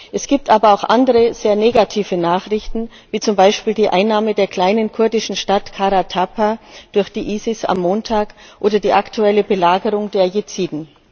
Es gibt aber auch andere, sehr negative Nachrichten wie zum Beispiel die Einnahme der kleinen kurdischen Stadt Karatapa durch die ISIS am Montag oder die aktuelle Belagerung der Jesiden.